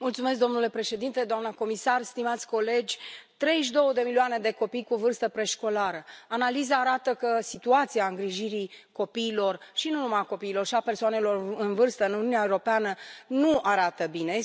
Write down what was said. Domnule președinte, doamna comisar, stimați colegi, 32 de milioane de copii cu vârstă preșcolară analiza arată că situația îngrijirii copiilor și nu numai a copiilor, ci și a persoanelor în vârstă în Uniunea Europeană nu arată bine.